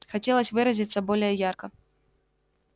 хотелось выразиться более ярко